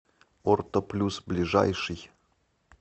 орто плюс ближайший